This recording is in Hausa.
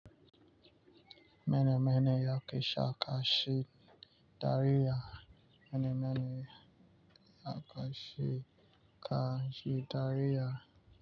Mene mene yake sake, dariya. Mene mene yake sake, ka yi dariya.